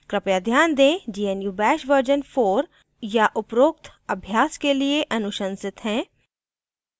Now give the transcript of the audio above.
कृपया ध्यान दें gnu bash version 4 या उपरोक्त अभ्यास के लिए अनुशंसित है